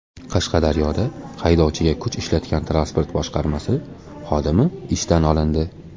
Qashqadaryoda haydovchiga kuch ishlatgan transport boshqarmasi xodimi ishdan olindi.